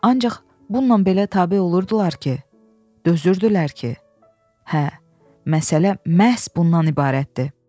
Ancaq bununla belə tabe olurdular ki, dözürdülər ki, hə, məsələ məhz bundan ibarətdir.